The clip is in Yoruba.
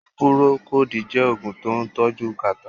Pùròkòdí jẹ́ Ògùn tó ń tọ́jú kàtá